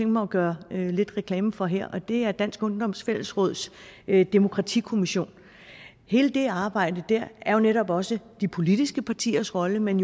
mig at gøre lidt reklame for her og det er dansk ungdoms fællesråds demokratikommission hele det arbejde er jo netop også de politiske partiers rolle men